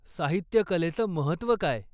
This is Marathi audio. साहित्यकलेचं महत्त्व काय?